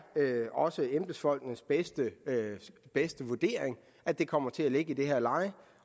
også embedsfolkenes bedste bedste vurdering at det kommer til at ligge i det her leje